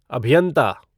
अभियन्ता